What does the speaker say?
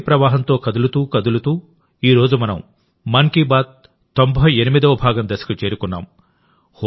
ఈ శక్తి ప్రవాహంతో కదులుతూ కదులుతూఈ రోజు మనం మన్ కీ బాత్ 98వ భాగం దశకు చేరుకున్నాము